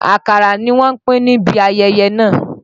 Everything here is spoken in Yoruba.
Àkàrà ni wọ́n pín níbí ayẹyẹ náà.